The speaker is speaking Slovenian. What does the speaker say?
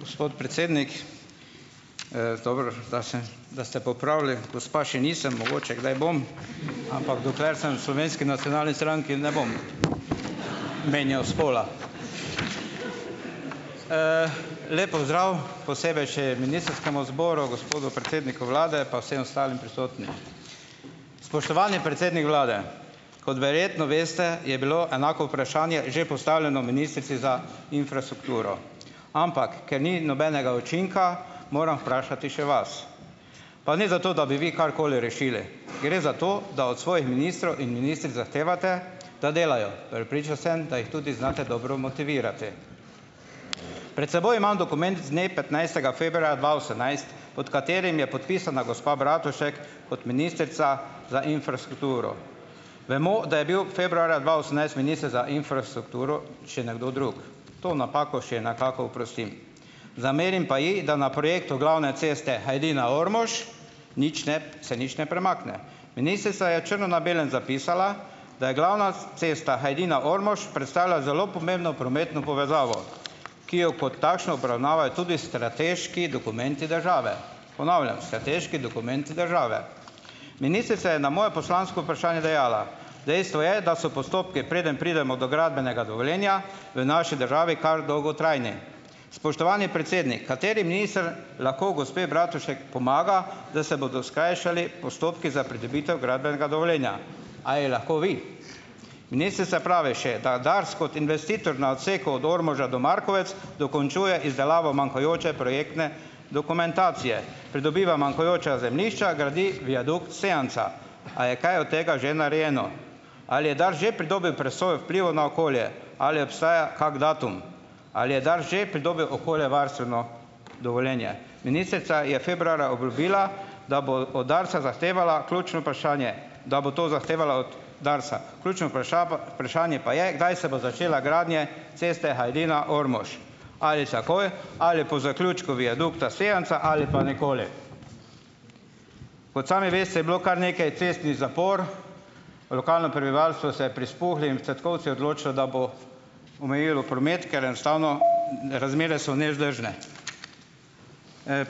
Gospod predsednik! Dobro, da se da ste popravili, gospa še nisem, mogoče kdaj bom, ampak dokler sem Slovenski nacionalni stranki, ne bom menjal spola. Lep pozdrav, posebej še ministrskemu zboru, gospodu predsedniku vlade pa vsem ostalim prisotnim! Spoštovani predsednik vlade! Kot verjetno veste, je bilo enako vprašanje že postavljeno ministrici za infrastrukturo, ampak ker ni nobenega učinka, moram vprašati še vas. Pa ne zato, da bi vi karkoli rešili. Gre zato, da od svojih ministrov in ministric zahtevate, da delajo. Prepričan sem, da jih tudi znate dobro motivirati. Pred seboj imam dokument z dne petnajstega februarja dva osemnajst, pot katerim je podpisana gospa Bratušek kot ministrica za infrastrukturo. Vemo, da je bil februarja dva osemnajst minister za infrastrukturo še nekdo drug. To napako še nekako oprostim. Zamerim pa ji, da na projektu glavne ceste Hajdina-Ormož nič ne se, nič ne premakne. Ministrica je črno na belem zapisala, da je glavna cesta Hajdina-Ormož predstavlja zelo pomembno prometno povezavo, ki jo kot takšno obravnavajo tudi strateški dokumenti države. Ponavljam, strateški dokumenti države. Ministrica je na moje poslansko vprašanje dejala: "Dejstvo je, da so postopki, preden pridemo do gradbenega dovoljenja v naši državi, kar dolgotrajni. Spoštovani predsednik! Kateri minister lahko gospe Bratušek pomaga, da se bodo skrajšali postopki za pridobitev gradbenega dovoljenja? A ji lahko vi? Ministrica pravi še, da Dars kot investitor na odseku od Ormoža do Markovec dokončuje izdelavo manjkajoče projektne dokumentacije, pridobiva manjkajoča zemljišča, gradi viadukt Sevnica. A je kaj od tega že narejeno? Ali je Dars že pridobil presojo vplivov na okolje, ali obstaja kak datum? Ali je Dars že pridobil okoljevarstveno dovoljenje? Ministrica je februarja obljubila, da bo od Darsa zahtevala. Ključno vprašanje, da bo to zahtevala od Darsa, ključno pa vprašanje pa je, kdaj se bo začela gradnja ceste Hajdina-Ormož? Ali takoj ali po zaključku viadukta Sevnica ali pa nikoli? Kot sami veste, je bilo kar nekaj cestnih zapor, lokalno prebivalstvo se omejilo promet, ker enostavno razmere so nevzdržne.